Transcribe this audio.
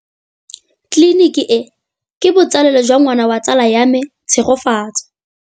Tleliniki e, ke botsalêlô jwa ngwana wa tsala ya me Tshegofatso.